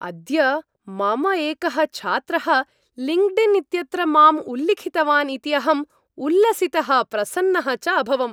अद्य मम एकः छात्रः लिङ्क्डिन् इत्यत्र माम् उल्लिखितवान् इति अहम् उल्लसितः प्रसन्नः च अभवम्।